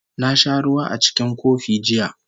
Na sha ruwa a cikin kofi jiya